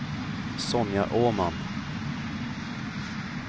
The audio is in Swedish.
Sonja Åman